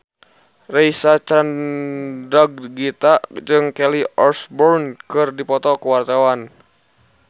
Reysa Chandragitta jeung Kelly Osbourne keur dipoto ku wartawan